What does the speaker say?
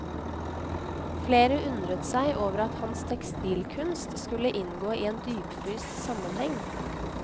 Flere undret seg over at hans tekstilkunst skulle inngå i en dypfryst sammenheng.